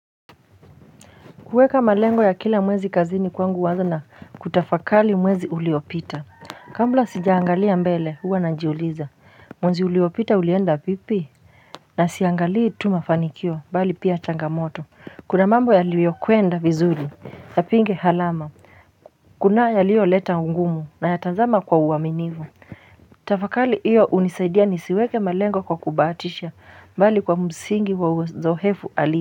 Kuweka malengo ya kila mwezi kazini kwangu huanza na kutafakari mwezi uliopita kabla sijaangalia mbele huwa najiuliza mwezi uliopita ulienda vipi na siangalii tu mafanikio bali pia changamoto kuna mambo yaliyokwenda vizuri ya pinge halama kuna yaliyo leta ugumu nayatazama kwa uaminifu tafakari hiyo hunisaidia nisiweke malengo kwa kubahatisha bali kwa msingi wa uzoefu ali.